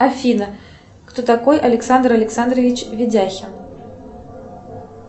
афина кто такой александр александрович видяхин